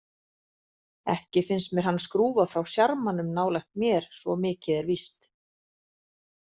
Ekki finnst mér hann skrúfa frá sjarmanum nálægt mér, svo mikið er víst.